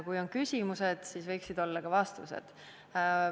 Kui on küsimused, siis võiksid olla ka vastused.